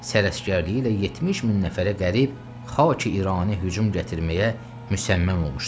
Sərəskərliyi ilə 70 min nəfərə qərib Xaqi-İrani hücum gətirməyə müsəmməm olmuşdular.